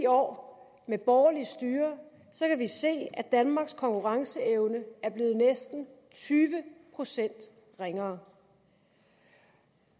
år med borgerligt styre se at danmarks konkurrenceevne er blevet næsten tyve procent ringere